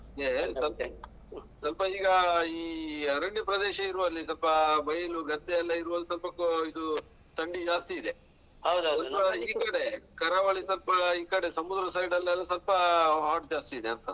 ಇದೆ ಸ್ವಲ್ಪ ಈಗ ಈ ಅರಣ್ಯ ಪ್ರದೇಶ ಇರುವಲ್ಲಿ ಸ್ವಲ್ಪ ಬೈಲು ಗದ್ದೆಯೆಲ್ಲಾ ಇರುವಲ್ಲಿ ಸ್ವಲ್ಪ ಆ ಇದು ತಂಡಿ ಜಾಸ್ತಿ ಇದೆ. ಕರಾವಳಿ ಸ್ವಲ್ಪ ಈ ಕಡೆ ಸಮುದ್ರ side ಅಲ್ಲೆಲ್ಲ ಸ್ವಲ್ಪ hot ಜಾಸ್ತಿದೆ ಅಂತ.